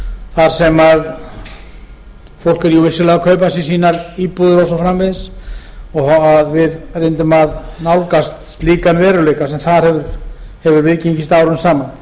þar sem fólk er jú vissulega að kaupa sér sínar íbúðir og svo framvegis að við reyndum að nálgast slíkan veruleika sem þar hefur viðgengist árum saman